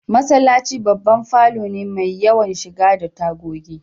Masallaci babban falo ne mai yawan shiga da tagogi